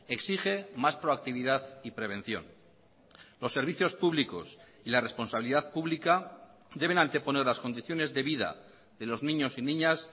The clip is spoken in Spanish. exige más proactividad y prevención los servicios públicos y la responsabilidad pública deben anteponer las condiciones de vida de los niños y niñas